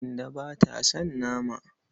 Kande ba ta son nama.